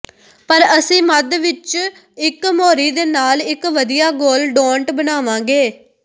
ਪਰ ਅਸੀਂ ਮੱਧ ਵਿਚ ਇਕ ਮੋਰੀ ਦੇ ਨਾਲ ਇਕ ਵਧੀਆ ਗੋਲ ਡੋਨਟ ਬਣਾਵਾਂਗੇ